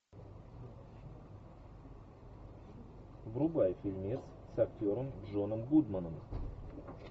врубай фильмец с актером джоном гудманом